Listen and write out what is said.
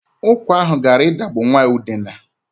Ụkwa ahụ gara idagbu nwa Udenna.